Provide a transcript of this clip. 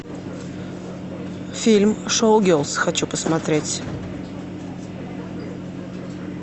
фильм шоу гелз хочу посмотреть